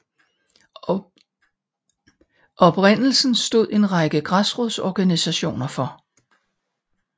Oprindelsen stod en række græsrodsorganisationer for